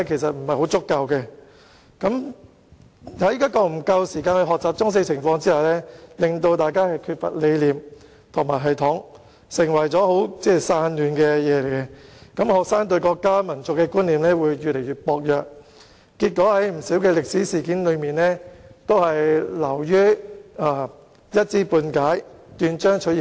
在沒有給予學生足夠時間學習中史的情況下，有關科目缺乏理念和系統，變得十分散亂，導致學生對國家民族的觀念越來越薄弱，對不少歷史事件均一知半解，斷章取義。